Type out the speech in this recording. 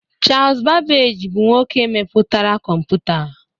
Charles Babbage bụ nwoke mepụtara kọmputa